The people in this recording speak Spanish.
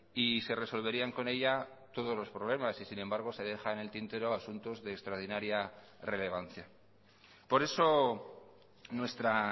y se resolverían con ella todos los problemas y sin embargo se deja en el tintero asuntos de extraordinaria relevancia por eso nuestra